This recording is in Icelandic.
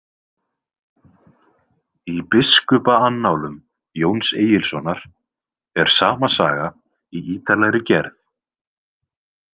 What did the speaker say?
Í Biskupaannálum Jóns Egilssonar er sama saga í ítarlegri gerð.